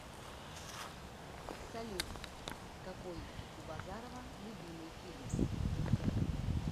салют какой у базарова любимый фильм